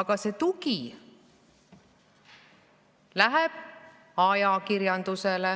Aga see tugi läheb ajakirjandusele,